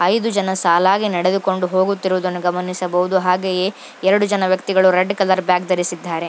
ಐದು ಜನ ಸಾಲಾಗಿ ನಡೆದುಕೊಂಡು ಹೋಗುತ್ತಿರುವುದನ್ನು ಗಮನಿಸಬಹುದು. ಹಾಗೆಯೇ ಎರಡು ಜನ ವ್ಯಕ್ತಿಗಳು ರೆಡ್ ಕಲರ್ ಬ್ಯಾಗ್ ಅನ್ನು ಧರಿಸಿದ್ದಾರೆ.